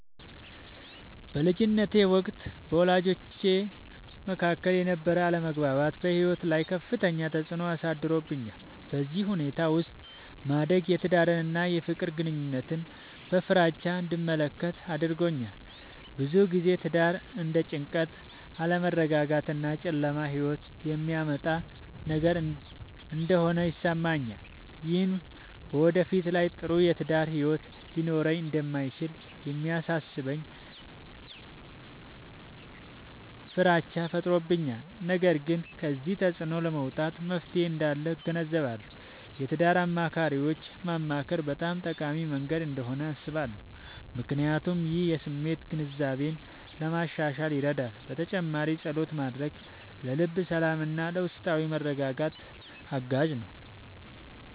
በልጅነቴ ወቅት በወላጆቼ መካከል የነበረ አለመግባባት በሕይወቴ ላይ ከፍተኛ ተፅዕኖ አሳድሮብኛል። በዚህ ሁኔታ ውስጥ ማደግ የትዳርን እና የፍቅር ግንኙነትን በፍራቻ እንድመለከት አድርጎኛል። ብዙ ጊዜ ትዳር እንደ ጭንቀት፣ አለመረጋጋት እና ጨለማ ሕይወት የሚያመጣ ነገር እንደሆነ ይሰማኛል። ይህም በወደፊት ላይ ጥሩ የትዳር ሕይወት ሊኖረኝ እንደማይችል የሚያሳስበኝ ፍራቻ ፈጥሮብኛል። ነገር ግን ከዚህ ተፅዕኖ ለመውጣት መፍትሔ እንዳለ እገነዘባለሁ። የትዳር አማካሪዎችን ማማከር በጣም ጠቃሚ መንገድ እንደሆነ አስባለሁ፣ ምክንያቱም ይህ የስሜት ግንዛቤን ለማሻሻል ይረዳል። በተጨማሪም ፀሎት ማድረግ ለልብ ሰላምና ለውስጣዊ መረጋጋት አጋዥ ነው።